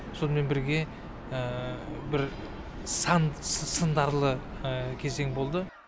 сонымен бірге бір сан сындарлы кезең болды